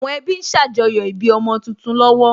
Àwọn ẹbí ń ṣàjọyọ̀ ìbí ọmọ tuntun lọ́wọ́